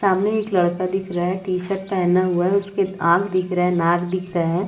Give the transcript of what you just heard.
सामने एक लड़का दिख रहा है टी-शर्ट पहना हुआ है उसके आँख दिख रहे है नाक दिख रहे हैं ।